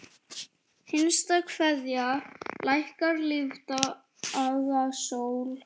HINSTA KVEÐJA Lækkar lífdaga sól.